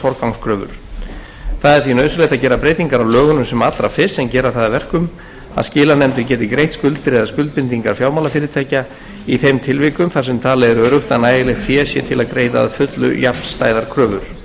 að gera breytingar á lögunum sem allra fyrst sem gera það að verkum að skilanefndir geti greitt skuldir eða skuldbindingar fjármálafyrirtækja í þeim tilvikum þar sem talið er að nægilegt fé sé til að greiða að fullu jafnstæðar kröfur fram hafa komið þau sjónarmið um að frumvarpið